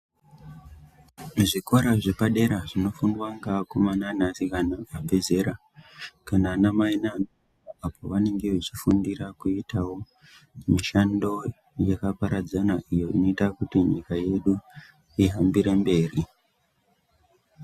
Zvikora zvepadera zvinofundwa ngaakomana ngaasikana abve zera kana anamai nanababa apo pavanenge vechifundira kuitawo mishando yakaparadzana iyo inoita kuti nyika yedu ihambire mberi.